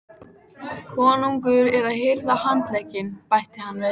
Konungur er að hirða handlegginn, bætti hann við.